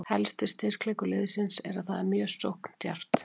Helsti styrkleikur liðsins er að það er mjög sókndjarft.